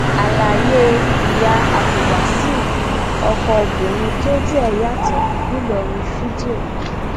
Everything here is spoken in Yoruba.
àlàyé ìyá abdulwasaiu ọkọ obìnrin tójú ẹ yàtọ ńìlọrin fídíò